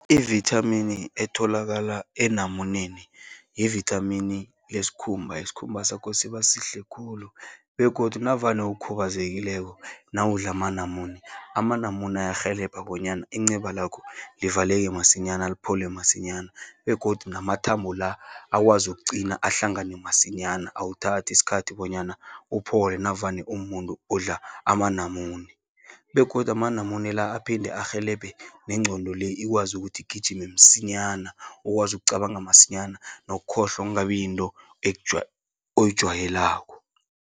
I-vithamini etholakala enamuneni, yi-vithamini leskhumba. Iskhumba sakho siba sihle khulu, begodu navane okhubazekileko nawudla amanamune, amanamune ayarhelebha, bonyana inceba lakho livaleke masinyana liphole masinyana, begodu namathambo la, akwazi ukuqina ahlangane masinyana. Awuthathi iskhathi bonyana uphole, nakuvane umuntu odla amanamune, begodu amanamune la, aphinde arhelebhe nengqondo le, ikwazi ukuthi igijime msinyana. Ukwazi ukucabanga masinyana nokhohlwa kungabi yinto oyitjwayelako.